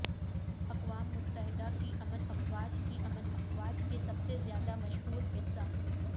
اقوام متحدہ کی امن افواج کی امن افواج کے سب سے زیادہ مشہور حصہ